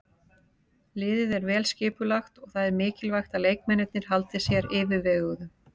Liðið er vel skipulagt og það er mikilvægt að leikmennirnir haldi sér yfirveguðum.